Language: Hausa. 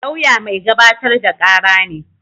Lauya mai gabatar da kara ne